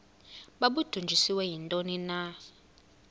babudunjiswe yintoni na